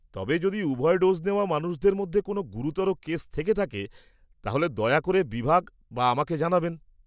তবে যদি উভয় ডোজ নেওয়া মানুষদের মধ্যে কোন গুরুতর কেস থেকে থাকে তাহলে দয়া করে বিভাগ বা আমাকে জানাবেন।